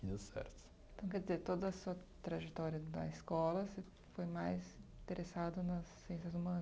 Deu certo. Então, quer dizer, toda a sua trajetória da escola, você foi mais interessado nas ciências humanas?